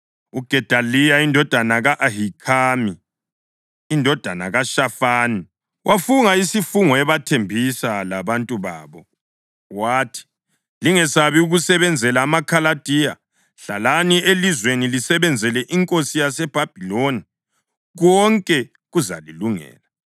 UGedaliya indodana ka-Ahikhami, indodana kaShafani, wafunga isifungo ebathembisa labantu babo, wathi, “Lingesabi ukusebenzela amaKhaladiya. Hlalani elizweni lisebenzele inkosi yaseBhabhiloni, konke kuzalilungela.